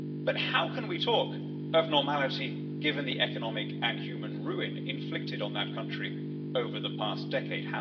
But how can we talk of normality, given the economic and human ruin inflicted on that country over the past decade?